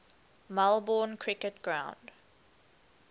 melbourne cricket ground